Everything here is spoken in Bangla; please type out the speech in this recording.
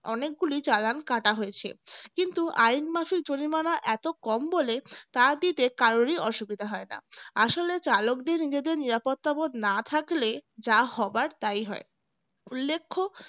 অনেকগুলি challan কাটা হয়েছে কিন্তু আইন মাফিক জরিমানা এত কম বলে তা দিতে কারোরই অসুবিধা হয় না আসলে চালকদের নিজেদের নিরাপত্তাবোধ না থাকলে যা হবার তাই হয় উল্লেখ্য